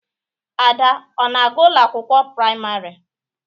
Ada ọ-na aga ụlọ akwụkwọ praịmarị?